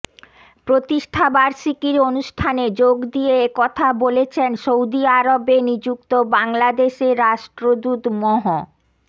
প্রতিষ্ঠাবার্ষিকীর অনুষ্ঠানে যোগ দিয়ে একথা বলেছেন সৌদি আরবে নিযুক্ত বাংলাদেশের রাষ্ট্রদূত মহ